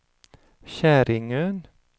Käringön